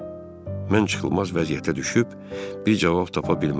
Mən çıxılmaz vəziyyətə düşüb bir cavab tapa bilmədim.